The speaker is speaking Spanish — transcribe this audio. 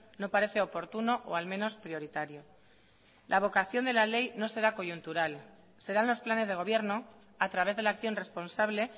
no parece oportuno o al menos prioritario la vocación de la ley no será coyuntural serán los planes de gobierno a través de la acción responsable